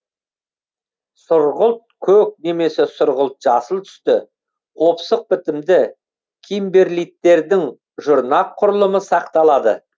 сұрғылт көк немесе сұрғылт жасыл түсті қопсық бітімді кимберлиттердің жұрнақ құрылымы сақталады